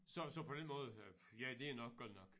Så så på den måde ja det er nok godt nok